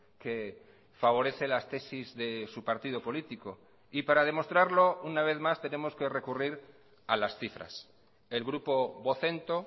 que favorece las tesis de su partido político y para demostrarlo una vez más tenemos que recurrir a las cifras el grupo vocento